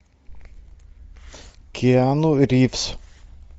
киану ривз